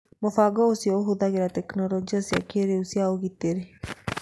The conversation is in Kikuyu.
Mũbango ũcio ũhũthagĩra tekinoronjĩ cia kĩrĩu cia ũgitĩri.